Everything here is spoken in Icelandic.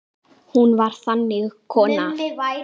Hún var þannig kona.